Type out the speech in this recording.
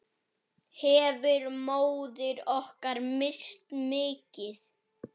Hefur móðir okkar misst mikið.